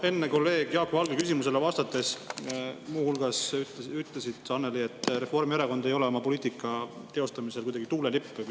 Enne te kolleeg Jaak Valge küsimusele vastates muu hulgas ütlesite, Annely, et Reformierakond ei ole oma poliitika teostamisel kuidagi tuulelipp.